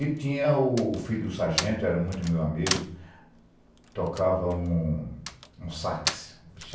E tinha o filho do sargento, era muito meu amigo, tocava um sax.